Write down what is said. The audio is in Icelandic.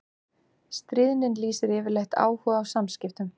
Stríðnin lýsir yfirleitt áhuga á samskiptum.